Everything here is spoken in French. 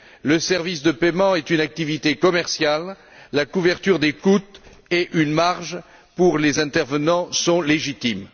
Le service de paiement est une activité commerciale, la couverture des coûts et une marge pour les intervenants sont légitimes.